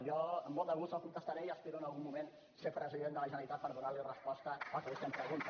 jo amb molt de gust li contestaré i espero en algun moment ser president de la generalitat per donar li resposta al que vostè em pregunta